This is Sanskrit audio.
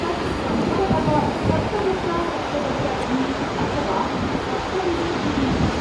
तत् सम्भवतः सप्तदश, सप्तदश बी अथ वा सप्तविंशतिः इति।